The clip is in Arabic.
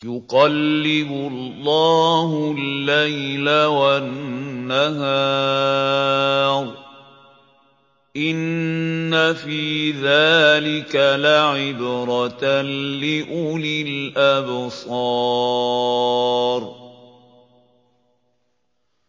يُقَلِّبُ اللَّهُ اللَّيْلَ وَالنَّهَارَ ۚ إِنَّ فِي ذَٰلِكَ لَعِبْرَةً لِّأُولِي الْأَبْصَارِ